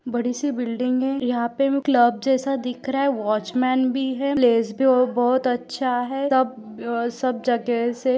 बडीसी बिल्डिंग है यहाँ पे क्लब जैसा दिख रह है वॉचमन भी है। प्लेस भी बहुत अच्छा दिख रहा है। तब सब जगह से--